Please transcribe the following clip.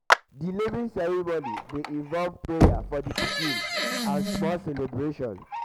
di naming di naming ceremoning dey involve prayers for di pikin and small celebration sometimes